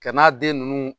Ka n'a den ninnu